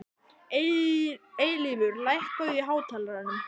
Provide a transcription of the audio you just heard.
Eilífur, lækkaðu í hátalaranum.